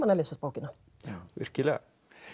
að lesa bókina virkilega